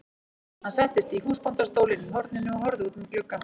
Hann settist í húsbóndastólinn í horninu og horfði út um gluggann.